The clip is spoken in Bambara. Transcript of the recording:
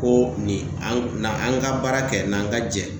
Ko nin, an na an ka baara kɛ, n'an ka jɛ .